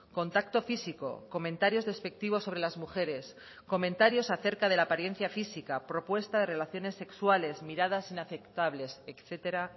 contacto físico comentarios despectivos sobre las mujeres comentarios acerca de la apariencia física propuesta de relaciones sexuales miradas inaceptables etcétera